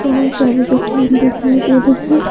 बहुत सारे दुकान दिखाई दे रहे हैं।